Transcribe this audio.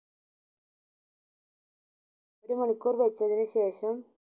ഒരു മണിക്കൂർ വെച്ചതിന് ശേഷം